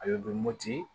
A bɛ mɔti